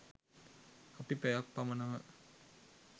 අපි පැයක් පමණම